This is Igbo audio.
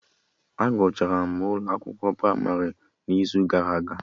A gụchara m ụlọ akwụkwọ pramarị n'izu gara aga